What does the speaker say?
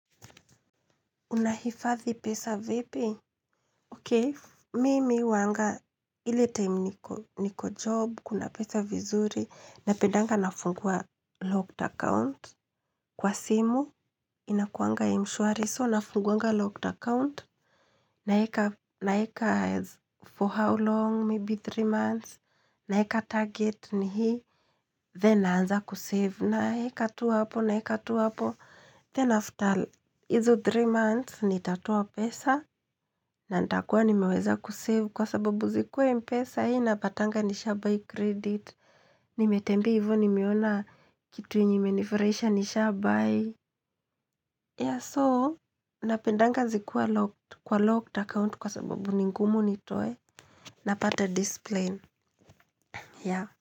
Unahifathi pesa vipi? Okay, mimi huwanga time niko job, kuna pesa vizuri, napendanga nafungua locked account. Kwa simu, kuwanga mshwari, so nafunguanga locked account, naweka for how long, maybe three months, naweka target ni hii, then naanza kusave, naweka tu hapo, naweka tu hapo. Then after hizo 3 months, nitatoa pesa, na nitakua nimeweza kusave kwa sababu zikiwa mpesa, napatanga nisha buy credit, nimetembea hivyo nimeona kitu yenye imenifurahisha nisha buy. Yeah, so, napendanga zikiwa locked, kwa locked account kwa sababu ni ngumu nitoe, napata discipline, yeah.